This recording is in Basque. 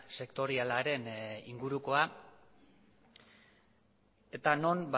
sektorialaren ingurukoa eta non